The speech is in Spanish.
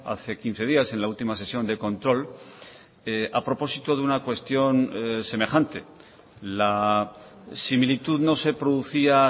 hace quince días en la última sesión de control a propósito de una cuestión semejante la similitud no se producía